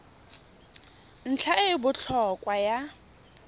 ntlha e e botlhokwa ya